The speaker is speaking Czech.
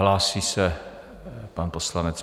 Hlásí se pan poslanec.